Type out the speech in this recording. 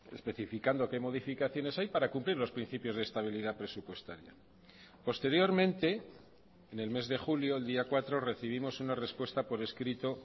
especificando qué modificaciones hay para cumplir los principios de estabilidad presupuestaria posteriormente en el mes de julio el día cuatro recibimos una respuesta por escrito